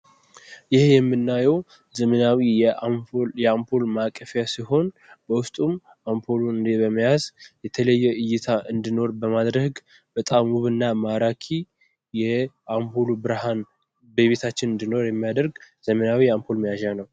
ይህ የምናየው ዘመናዊ የአንፖል ማቀፊያ ሲሆን፤ በዉስጡም አምፖል በመያዝ የተለየ እይታ እንዲኖር በማድረግ በጣም ዉብ እና ማራኪ የአንፖሉ ብርሃን በቤታችን እንዲኖር የሚያደርግ ዘመናዊ የአንፖል መያዣ ነው።